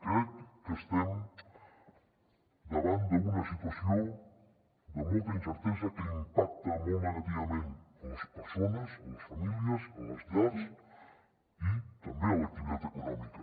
crec que estem davant d’una situació de molta incertesa que impacta molt negativament en les persones en les famílies en les llars i també en l’activitat econòmica